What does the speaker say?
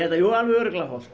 jú alveg örugglega hollt